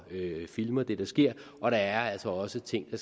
filmer det der sker og der er altså også ting